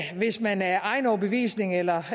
hvis man af egen overbevisning eller